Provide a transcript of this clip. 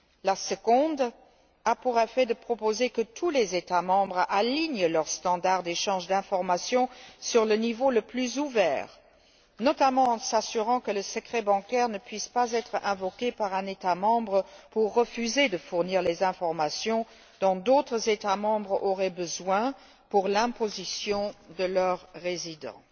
La seconde a pour effet de proposer que tous les États membres alignent leurs standards d'échange d'informations sur le niveau le plus ouvert, notamment en s'assurant que le secret bancaire ne puisse pas être invoqué par un État membre pour refuser de fournir les informations dont d'autres États membres auraient besoin pour l'imposition de leurs résidents.